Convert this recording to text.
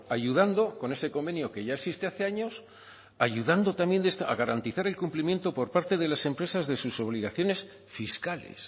ayudando con ese convenio que ya existe hace años ayudando también a garantizar el cumplimiento por parte de las empresas de sus obligaciones fiscales